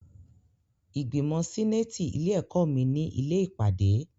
Ìgbìmọ̀ sẹ́nàtì ilé ẹ̀kọ́ mi ni ilé ìpàdé.